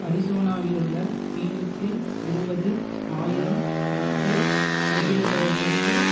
அரிசோனாவிலுள்ள பினிக்ஸில் இருபது ஆயிரம் மக்கள் குடியேறுபவர்களுக்கு